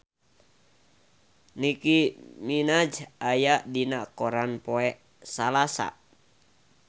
Nicky Minaj aya dina koran poe Salasa